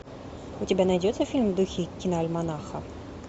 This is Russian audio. у тебя найдется фильм в духе киноальманаха